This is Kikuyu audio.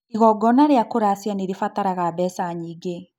Igongona rĩa kũracia nĩrĩbataraga mbeca nyingĩ